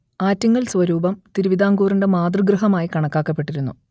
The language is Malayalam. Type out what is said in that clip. ആറ്റിങ്ങൽ സ്വരൂപം തിരുവിതാംകൂറിന്റെ മാതൃഗൃഹമായി കണക്കാക്കപ്പെട്ടിരുന്നു